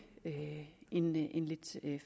en lidt